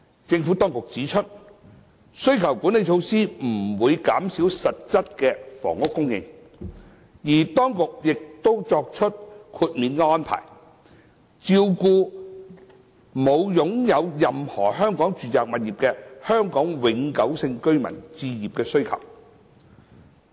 政府當局指出，需求管理措施不會減少實質房屋供應，而當局亦已作出豁免安排，照顧沒有擁有任何香港住宅物業的香港永久性居民的置業需求。